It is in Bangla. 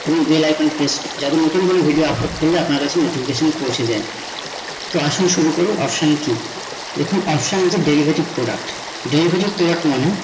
bell icon press যাতে নতুন কোনো video upload করলে আপনার কাছে notification পৌছে যায়। তো আসুন শুরু করুন option key । দেখুন option key একটা derivative product derivative product মানে